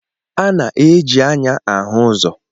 A na-eji anya ahụ ụzọ